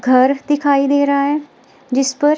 घर दिखाई दे रहा है जिस पर--